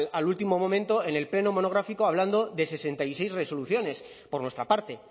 al último momento en el pleno monográfico hablando de sesenta y seis resoluciones por nuestra parte